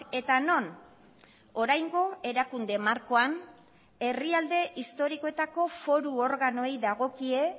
eta non oraingo erakunde markoan herrialde historikoetako foru organoei dagokie